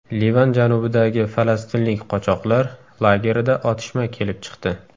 Livan janubidagi falastinlik qochoqlar lagerida otishma kelib chiqdi.